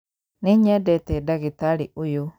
Nĩnyendete ndagĩtarĩ ũyũ